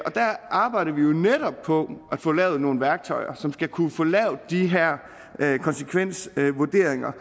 arbejder vi jo netop på at få lavet nogle værktøjer som skal kunne få lavet de her konsekvensvurderinger